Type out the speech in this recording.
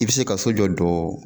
I bi se ka so jɔ jɔɔ